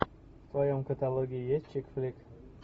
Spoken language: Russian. в твоем каталоге есть чикфлик